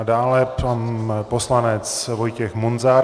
A dále pan poslanec Vojtěch Munzar.